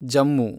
Jammu